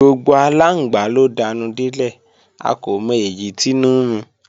Gbogbo aláǹgbá ló danú délẹ̀, a kò mọ èyí tínú ń run